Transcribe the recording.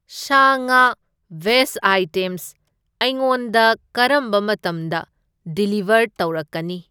ꯁꯥ ꯉꯥ veg items ꯑꯩꯉꯣꯟꯗ ꯀꯔꯝꯕ ꯃꯇꯝꯗ ꯗꯤꯂꯤꯕꯔ ꯇꯧꯔꯛꯀꯅꯤ?